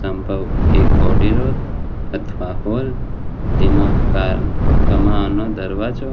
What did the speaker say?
સંભવ એક અથવા હોલ તેમાં કામ કમાન દરવાજો